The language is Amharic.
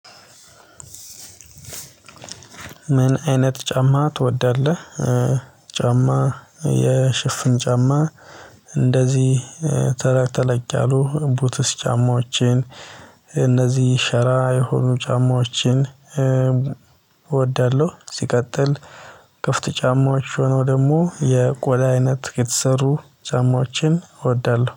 ምን አይነት ጫማ ትወዳለህ? ጫማ የሽፍን ጫማ እንደዚህ ተለቅ ተለቅ ያሉ ቡትስ ጫማዎችን እነዚህ ሸራ የሆኑ ጫማዎችን እወዳለሁ። ሲቀጥል ክፍት ጫማዎች ሆነው ደግሞ የቆዳ አይነት የተሰሩ ጫማዎችን እወዳለሁ